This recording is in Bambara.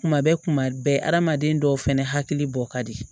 Kuma bɛɛ kuma bɛɛ adamaden dɔw fɛnɛ hakili bɔ ka di